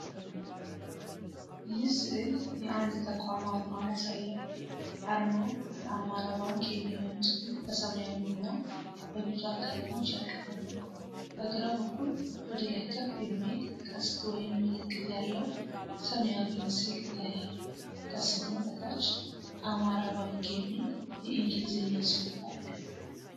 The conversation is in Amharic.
ይህ ሥዕል የአንድ ተቋም አርማ ያሳያል። አርማው "አማራ ባንክ" የሚለውን ጽሑፍ በሰማያዊና በቢጫ ቀለሞች ያቀፈ ነው። በግራ በኩል ወደ ላይ ከፍ የሚል ቀስት ወይም ምልክት ያለው ሰማያዊ ምስል ይታያል። ከስሙ በታች "አማራባንክ" የሚል የእንግሊዝኛ ጽሑፍ አለ።